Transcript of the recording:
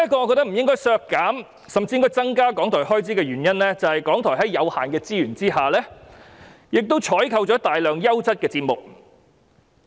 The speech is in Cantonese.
我認為不應削減而應增加港台開支預算的另一個原因，是港台即使資源有限，亦採購了大量優質的節目。